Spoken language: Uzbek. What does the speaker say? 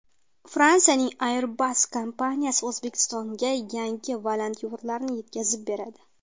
Fransiyaning Airbus kompaniyasi O‘zbekistonga yangi vertolyotlarni yetkazib beradi.